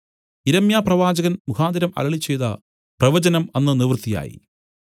യിരെമ്യാപ്രവാചകൻ മുഖാന്തരം അരുളിച്ചെയ്ത പ്രവചനം അന്ന് നിവൃത്തിയായി